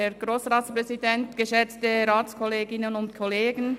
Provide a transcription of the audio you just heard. Kommissionspräsidentin der JuKo.